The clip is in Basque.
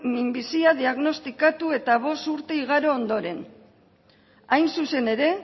minbizia diagnostikatu eta bost urte igaro ondoren hain zuzen ere